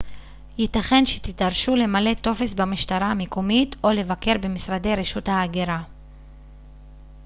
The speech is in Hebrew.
ייתכן שתידרשו למלא טופס במשטרה המקומית או לבקר במשרדי רשות ההגירה